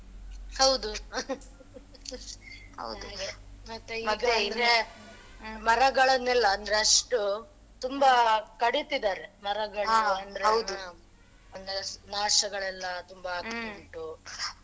ಹೌದು ಹಾಗೆ ಮರಗಳನ್ನೆಲ್ಲ ಅಂದ್ರೆ ಅಷ್ಟು ತುಂಬಾ ಕಡಿತ್ತಿದ್ದಾರೆ ಮರಗಳನ್ನೆಲ್ಲ ನಾ~ ನಾಶಗಳೆಲ್ಲ ತುಂಬಾ ಆಗ್ತಾ ಉಂಟು .